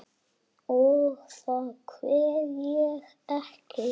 Og þá kveð ég.